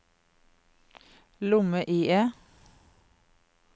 lomme-IE